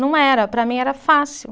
Não era, para mim era fácil.